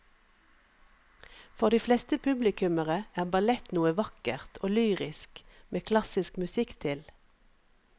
For de fleste publikummere er ballett noe vakkert og lyrisk med klassisk musikk til.